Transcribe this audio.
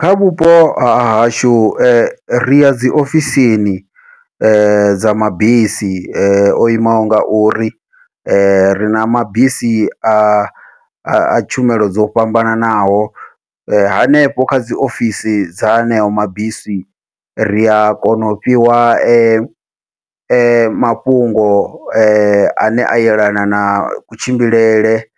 Kha vhupo hahashu ri ya dzi ofisini dza mabisi ane o imaho ngauri, rina mabisi a a tshumelo dzo fhambananaho hanefho kha dzi ofisi dza aneo mabisi, ria kona u fhiwa ma mafhungo ane a yelana na kutshimbilele